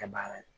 Kɛ baara ye